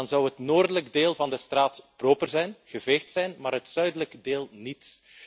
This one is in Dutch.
Dan zou het noordelijke deel van de straat proper zijn, geveegd zijn, maar het zuidelijke deel niet.